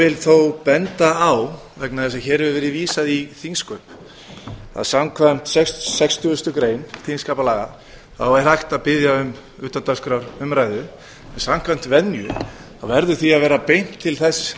vil þó benda á vegna þess að hér hefur verið vísað í þingsköp að samkvæmt sextugustu grein þingskapalaga þá er hægt að biðja um utandagskrárumræðu en samkvæmt venju þá verður því að vera beint til þess